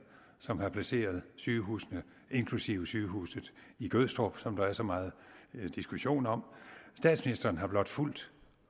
som har placeret sygehusene inklusive sygehuset i gødstrup som der er så meget diskussion om statsministeren har blot fulgt